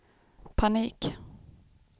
panik